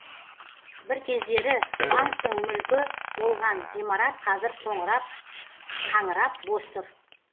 бір кездері банктің мүлкі болған ғимарат қазір қаңырап бос тұр